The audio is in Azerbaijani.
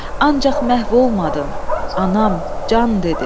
Ancaq məhv olmadın, anam, can dedim.